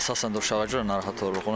Əsasən də uşağa görə narahat oluruq.